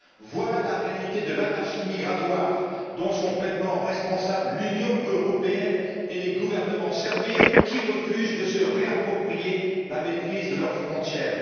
Voilà la réalité de l'anarchie migratoire, dont sont pleinement responsables l'Union européenne et les gouvernements serviles qui refusent de se réapproprier la maîtrise de leurs frontières.